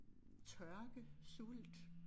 Tørke sult